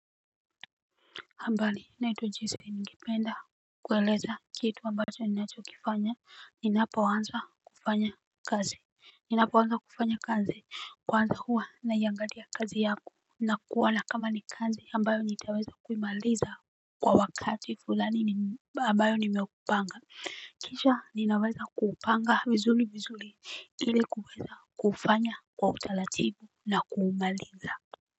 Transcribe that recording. Ambali na itwa jese ningependa kueleza kitu ambacho ninachokifanya. Ninapo wanza kufanya kazi ninapo wanza kufanya kazi kwanza huwa na yangalia kazi yako. Na kuona kama ni kazi ambayo nitaweza kuimaliza kwa wakati fulani abayo nimepanga kisha ninaweza kupanga vizuli vizuli ili kuweza kuufanya kwa utalatibu na kuumaliza.